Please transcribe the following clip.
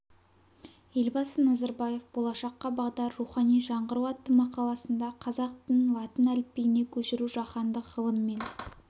елбасы назарбаев болашаққа бағдар рухани жаңғыру атты мақаласында қазақ тілін латын әліпбиіне көшіру жаһандық ғылым мен